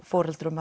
foreldra